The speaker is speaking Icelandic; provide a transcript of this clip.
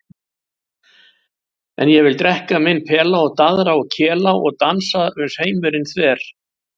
En ég vil drekka minn pela og daðra og kela og dansa uns heimurinn þver.